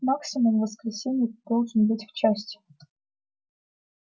максимум в воскресенье ты должен быть в части